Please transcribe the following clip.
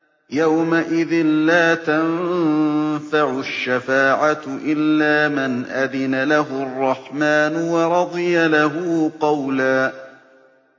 يَوْمَئِذٍ لَّا تَنفَعُ الشَّفَاعَةُ إِلَّا مَنْ أَذِنَ لَهُ الرَّحْمَٰنُ وَرَضِيَ لَهُ قَوْلًا